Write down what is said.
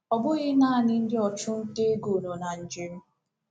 Ọ bụghị naanị ndị ọchụnta ego nọ na njem